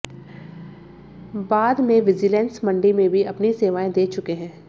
बाद मंे विजीलेंस मंडी में भी अपनी सेवाएं दे चुके हैं